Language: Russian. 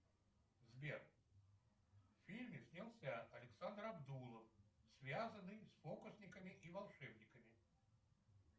сбер в фильме снялся александр абдулов связанный с фокусниками и волшебниками